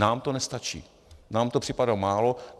Nám to nestačí, nám to připadá málo.